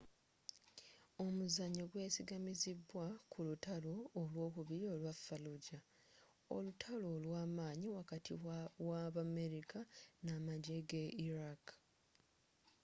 omuzannyo gwesigamizibwa ku lutalo olwokubiri olwa fallujah olutalo olwamanyi wakati w'abamerika n'amajje ge iraq